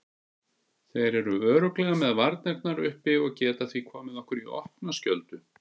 Þeir eru örugglega með varnirnar uppi og geta því komið okkur í opna skjöldu.